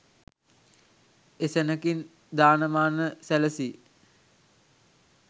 එසැණකින් දාන මාන සැලසී